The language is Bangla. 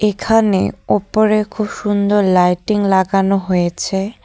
এখানে ওপরে খুব সুন্দর লাইটিং লাগানো হয়েছে।